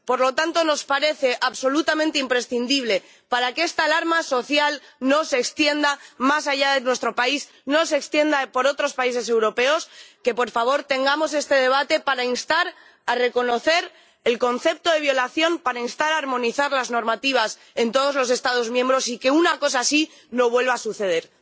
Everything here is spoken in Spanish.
Por lo tanto, nos parece absolutamente imprescindible, para que esta alarma social no se extienda más allá de nuestro país, no se extienda por otros países europeos, que, por favor, tengamos este debate para instar a reconocer el concepto de violación, para instar a armonizar las normativas en todos los Estados miembros y para que una cosa así no vuelva a suceder.